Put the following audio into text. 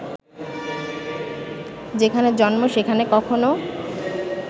যেখানে জন্ম সেখানে কখনো